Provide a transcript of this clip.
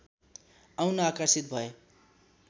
आउन आकर्षित भए